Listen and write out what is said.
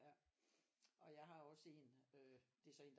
Og jeg har også en øh det er så en